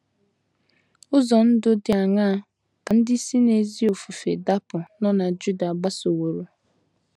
Ụzọ ndụ dị aṅaa ka ndị si n’ezi ofufe dapụ nọ na Juda gbasoworo?